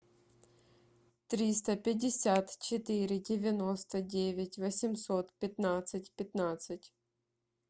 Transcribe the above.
триста пятьдесят четыре девяносто девять восемьсот пятнадцать пятнадцать